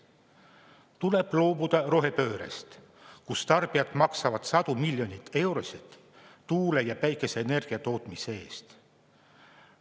Tuleb loobuda rohepöördest, kus tarbijad maksavad sadu miljoneid eurosid tuule- ja päikeseenergia tootmise eest.